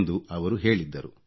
ಎಂದು ಅವರು ಹೇಳಿದ್ದರು